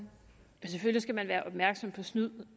snyd